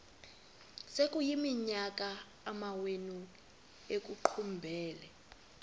sekuyiminyaka amawenu ekuqumbele